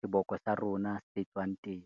seboko sa rona se tswang teng.